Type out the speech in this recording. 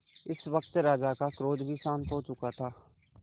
इस वक्त राजा का क्रोध भी शांत हो चुका था